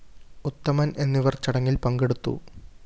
ഉത്തമന്‍ എന്നിവര്‍ ചടങ്ങില്‍ പങ്കെടുത്തു